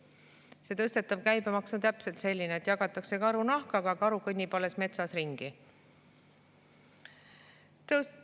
Ei, see tõstetav käibemaks on täpselt selline, et jagatakse karu nahka, aga karu kõnnib alles metsas ringi.